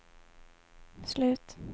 slut